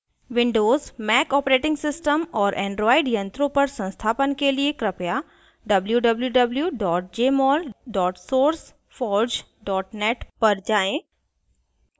windows mac os और android यंत्रों पर संस्थापन के लिए कृपया www jmol sourceforge net पर जाएँ